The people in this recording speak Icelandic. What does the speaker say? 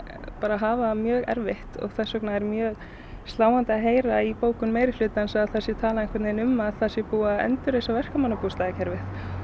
hafa það mjög erfitt og þess vegna er mjög sláandi í bókun meirihlutans að það sé talað um að það sé búið að endurreisa verkamannabústaðakerfið